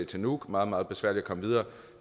til nuuk meget meget besværligt at komme videre